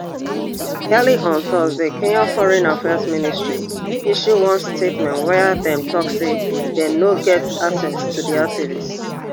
earlier on thursday kenya foreign affairs ministry issue one statement wia dem tok say dem no get access to di activist